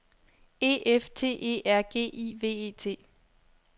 E F T E R G I V E T